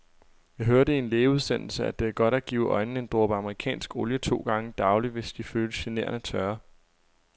Jeg hørte i en lægeudsendelse, at det er godt at give øjnene en dråbe amerikansk olie to gange daglig, hvis de føles generende tørre.